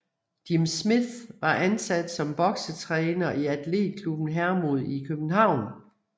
Jim Smith var ansat som boksetræner i Athletklubben Hermod i København